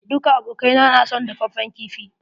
Duka abokai na son dafaffen kifi.